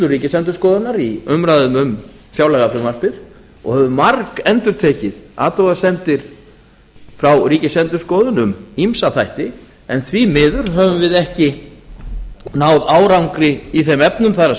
ríkisendurskoðun í umræðum um fjárlagafrumvarpið og höfum margendurtekið athugasemdir frá ríkisendurskoðun um ýmsa þætti en því miður höfum við ekki náð árangri í þeim efnum það